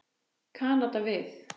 Kanada við.